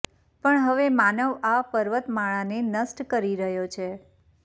પણ હવે માનવ આ પર્વતમાળાને નષ્ટ કરી રહ્યો છે